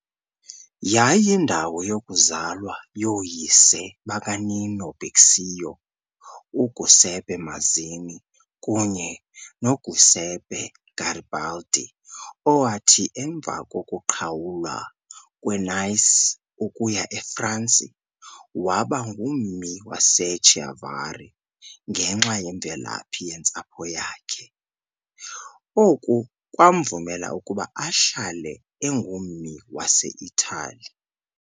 Yayiyindawo yokuzalwa yooyise bakaNino Bixio, uGiuseppe Mazzini kunye noGiuseppe Garibaldi, owathi, emva kokuqhawulwa kweNice ukuya eFransi, waba ngummi waseChiavari ngenxa yemvelaphi yentsapho yakhe, oku kwamvumela ukuba ahlale engummi waseItali.